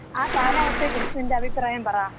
ആ കാലാവസ്ഥയെ കുറിച്ച് നിന്‍റെ അഭിപ്രായം പറ.